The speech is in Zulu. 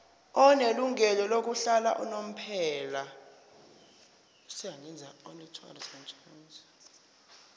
onelungelo lokuhlala unomphela